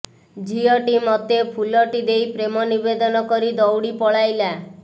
ଝିଅଟି ମତେ ଫୁଲଟି ଦେଇ ପ୍ରେମ ନିବେଦନ କରି ଦୌଡ଼ି ପଲାଇଲା